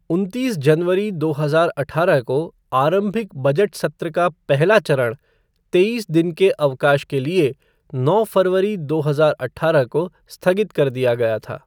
उनतीस जनवरी, दो हज़ार अठारह को आरंभिक बजट सत्र का पहला चरण तेईस दिन के अवकाश के लिए नौ फरवरी, दो हज़ार अठारह को स्थगित कर दिया गया था।